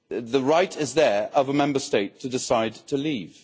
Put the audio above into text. The right is there of a Member State to decide to leave.